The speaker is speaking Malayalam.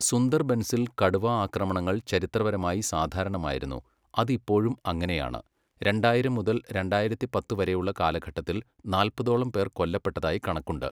സുന്ദർബൻസിൽ കടുവ ആക്രമണങ്ങൾ ചരിത്രപരമായി സാധാരണമായിരുന്നു. അത് ഇപ്പോഴും അങ്ങനെയാണ്. രണ്ടായിരം മുതൽ രണ്ടായിരത്തി പത്ത് വരെയുള്ള കാലഘട്ടത്തിൽ നാല്പതോളം പേർ കൊല്ലപ്പെട്ടതായി കണക്കുണ്ട്.